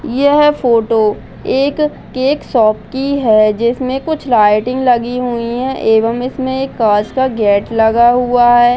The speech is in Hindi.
यह फोटो एक केक शॉप की है । जिसमे कुछ लाइटिंग लगी हुई है एवं इसमें एक कांच का गेट लगा हुआ हैं ।